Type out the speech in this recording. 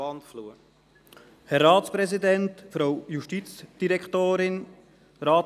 Wir kommen zur Planungserklärung 3b.